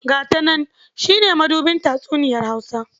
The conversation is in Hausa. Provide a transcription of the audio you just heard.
"Ga ta nan" shi ne mabuɗin tatsuniyar Hausa.